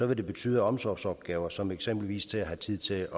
vil det betyde at omsorgsopgaver som eksempelvis det at have tid til